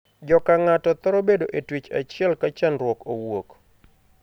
Jo kang'ato thoro bedo e twech achiel ka chandruok owuok.